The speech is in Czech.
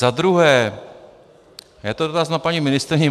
Za druhé je to dotaz na paní ministryni.